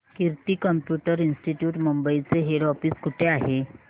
कीर्ती computer institute Mumbai चे head office कुठे आहे